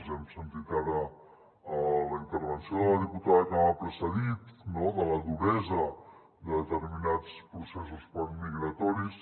hem sentit ara en la intervenció de la diputada que m’ha precedit no la duresa de determinats processos migratoris